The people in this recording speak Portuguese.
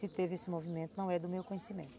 Se teve esse movimento, não é do meu conhecimento.